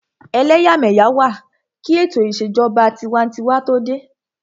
Ẹlẹ́yàmẹ́yà wà kí ètò ìṣèjọba tinwatinwa tó dé